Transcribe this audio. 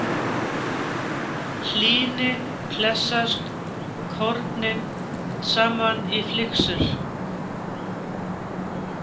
Hlýni klessast kornin saman í flyksur.